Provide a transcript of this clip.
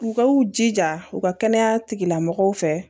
U ka u jija u ka kɛnɛya tigilamɔgɔw fɛ